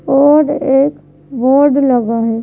Board एक board लगा है।